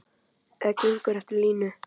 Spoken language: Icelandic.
Eða gengur eftir línu.